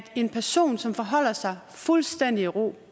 en person som forholder sig fuldstændig i ro